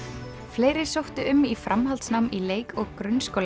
fleiri sóttu um í framhaldsnám í leik og